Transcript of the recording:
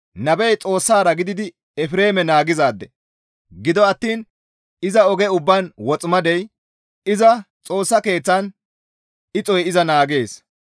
Nabey Xoossara gididi Efreeme naagizaade; gido attiin iza oge ubbaan woximadey, iza Xoossa Keeththan ixoy iza naagees.